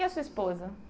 E a sua esposa?